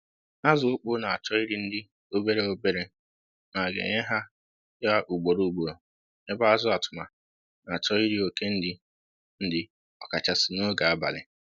Azụ okpo na-achọ iri nri obere obere ma a ga-enye ha ya ugboro ugboro ebe azụ atụma na-achọ iri oke nri ọkachasị n'oge abalị